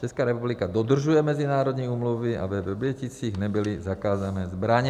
Česká republika dodržuje mezinárodní úmluvy a ve Vrběticích nebyly zakázané zbraně.